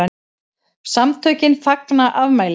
SAMTÖKIN FAGNA AFMÆLI